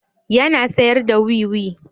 Yana sayar da wiwi.